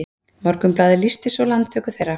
Morgunblaðið lýsti svo landtöku þeirra